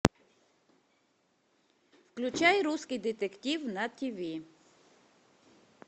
включай русский детектив на тв